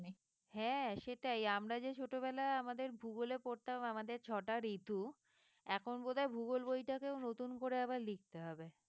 হ্যাঁ সেটাই আমরা যে ছোটবেলায় আমাদের ভূগোলে পড়তাম আমাদের ছটা ঋতু এখন বোধ হয় ভূগোল বইটাকে ও নতুন করে আবার লিখতে হবে।